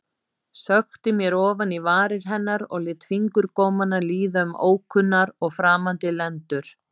Sökkti mér ofan í varir hennar og lét fingurgómana líða um ókunnar og framandi lendur.